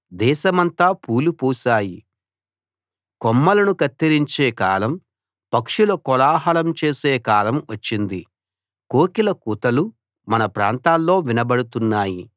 దేశమంతా పూలు పూశాయి కొమ్మలను కత్తిరించే కాలం పక్షులు కోలాహలం చేసే కాలం వచ్చింది కోకిల కూతలు మన ప్రాంతాల్లో వినబడుతున్నాయి